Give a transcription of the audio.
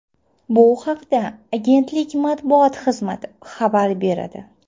Bu haqda agentlik matbuot xizmati xabar beradi .